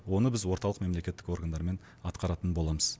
оны біз орталық мемлекеттік органдармен атқаратын боламыз